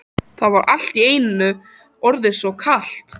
Það var allt í einu orðið svo kalt.